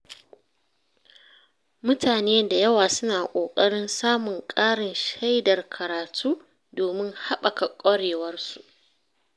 Mutane da yawa suna ƙoƙarin samun ƙarin shaidar karatu domin haɓaka ƙwarewarsu.